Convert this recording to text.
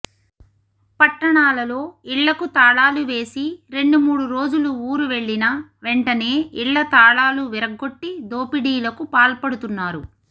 పట్టణాలలో ఇళ్లకు తాళాలు వేసి రెండుమూడు రోజులు ఊరువెళ్లినా వెంటనే ఇళ్ల తాళాలు విరగ్గొట్టి దోపి డీలకు పాల్పడుతున్నారు